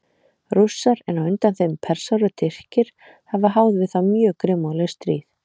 Rússar, en á undan þeim Persar og Tyrkir, hafa háð við þá mjög grimmúðleg stríð.